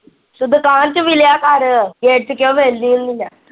ਤੂੰ ਦੁਕਾਨ ਚ ਵਿਲਿਆ ਕਰ ਗੇਟ ਚ ਕਿਉਂ ਵਿੱਲਦੀ ਹੁੰਦੀ ਆ।